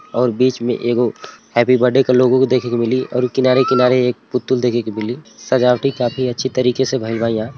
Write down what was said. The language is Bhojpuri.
और बिच में एगो हैप्पी बडे के लोगो को देखे के मिली ओरु किनारे-किनारे एक पुतुल देखे के मिली सजावटी काफी अच्छी तरीके से भइल बा इहां।